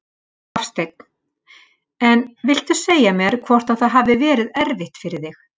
Hafsteinn: En viltu segja mér hvort að það hafi verið erfitt fyrir þig?